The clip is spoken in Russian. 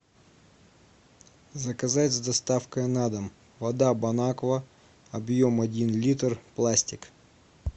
заказать с доставкой на дом вода бон аква объем один литр пластик